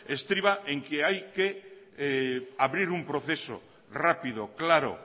estriba en que hay que abrir un proceso rápido claro